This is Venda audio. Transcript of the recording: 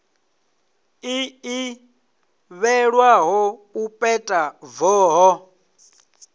ḽi ḓivhelwaho u peta voho